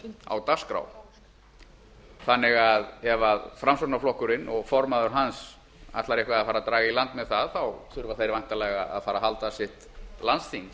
á dagskrá þannig að ef framsóknarflokkurinn og formaður hans ætlar eitthvað að fara að draga í land með það þurfa þeir væntanlega að fara að halda sitt landsþing til